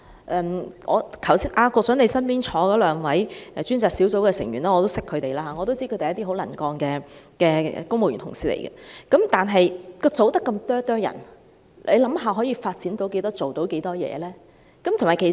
局長，我也認識你身邊兩位過渡性房屋專責小組的成員，我知道他們是很能幹的公務員同事，但過渡性房屋專責小組的人數那麼少，可想而知，可以做到多少事情呢？